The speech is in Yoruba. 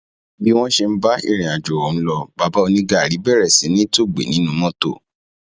bí wọn ṣe ń bá irìnàjò ọhún lọ bàbá onígáárí bẹrẹ sí í tòògbé nínú mọtò